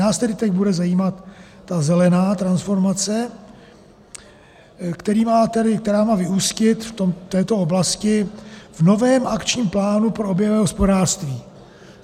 Nás tedy teď bude zajímat ta zelená transformace, která má vyústit v této oblasti v novém akčním plánu pro oběhové hospodářství.